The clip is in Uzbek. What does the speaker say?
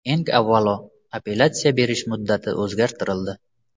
Eng avvalo, apellyatsiya berish muddati o‘zgartirildi.